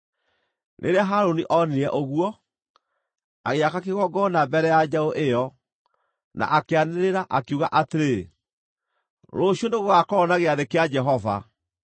Rĩrĩa Harũni onire ũguo, agĩaka kĩgongona mbere ya njaũ ĩyo, na akĩanĩrĩra, akiuga atĩrĩ, “Rũciũ nĩgũgakorwo na gĩathĩ kĩa Jehova.”